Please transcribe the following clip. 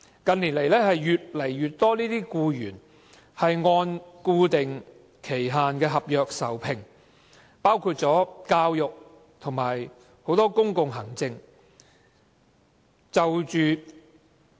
近年來，越來越多僱員按固定期限合約受聘，包括教育和很多公共行政的職位。